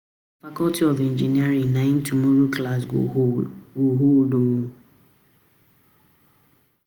na faculty of engineering nai tomorrow class go hold o